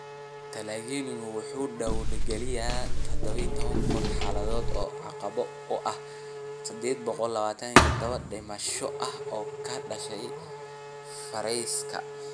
Talyaanigu wuxuu diiwaangeliyay 12,000 xaaladood oo caabuq ah iyo 827 dhimasho ah oo ka dhashay fayraska.